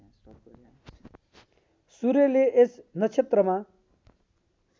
सूर्यले यस नक्षत्रमा